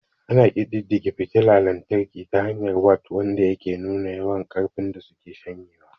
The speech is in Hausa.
Ana ƙididdige fitila lantarki ta hanyar wat, wanda yake nuna yawan ƙarfin da suke shanyewa.